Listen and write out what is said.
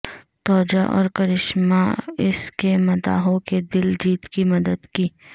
توجہ اور کرشمہ اس کے مداحوں کے دل جیت کی مدد کی